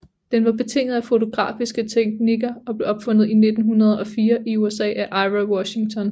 Den var betinget af fotografiske teknikker og blev opfundet i 1904 i USA af Ira Washington